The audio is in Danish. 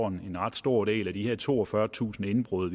en ret stor del af de her toogfyrretusind indbrud